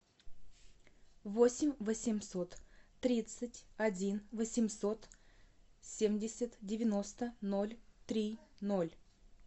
восемь восемьсот тридцать один восемьсот семьдесят девяносто ноль три ноль